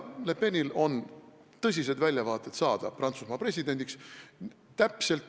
Le Penil on tõsised väljavaated saada Prantsusmaa presidendiks.